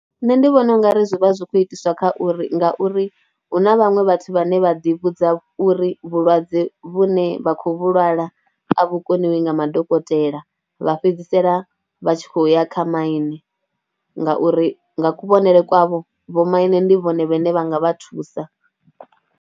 Nṋe ndi vhona u nga ri zwi vha zwi khou itiswa kha uri ngauri hu na vhaṅwe vhathu vhane vha ḓivhudza uri vhulwadze vhune vha khou lwala a vhukoniwi nga madokotela, vha fhedzisela vha tshi khou ya kha maine ngauri nga kuvhonele kwavho vhomaine ndi vhone vhane vha nga vha thusa.